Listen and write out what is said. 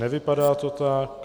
Nevypadá to tak.